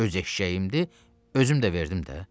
Öz eşşəyimdir, özüm də verdim də.